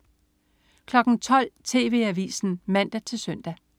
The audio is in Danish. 12.00 TV Avisen (man-søn)